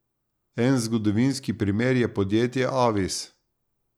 En zgodovinski primer je podjetje Avis.